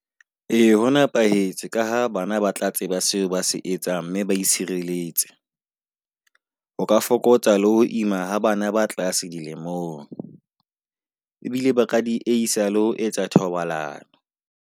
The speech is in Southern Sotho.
Ee ho nepahetse ka ha bana ba tla tseba seo ba se etsang, mme ba itshireletse. O ka fokotsa le ho ima bana ba tlasa dilemong ebile ba ka di isa le ho etsa thobalano.